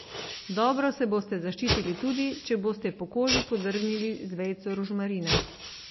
Dobro se boste zaščitili tudi, če boste po koži podrgnili z vejico rožmarina.